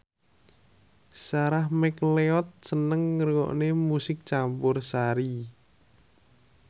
Sarah McLeod seneng ngrungokne musik campursari